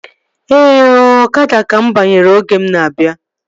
Ee ooo, ọkada ka mụ banyere oge m na-abịa